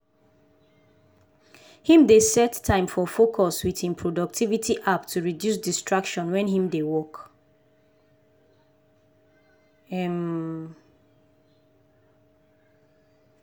him dey set time for focus with him productivity app to reduce distraction wen him dey work. um